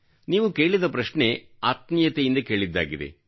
ನೀವು ಕೇಳಿದ ಪ್ರಶ್ನೆ ಆತ್ಮೀಯತೆಯಿಂದ ಕೇಳಿದ್ದಾಗಿದೆ